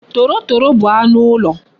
Torotoro bu anu ulo